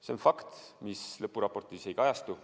See on fakt, mis lõpuraportis ei kajastu.